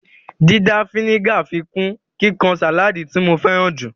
Dídà a fínígà ń fikún kíkan sáláádì tí mo féràn jù